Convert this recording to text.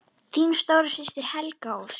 Þín stóra systir, Helga Ósk.